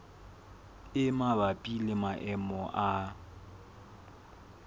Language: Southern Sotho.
e mabapi le maemo a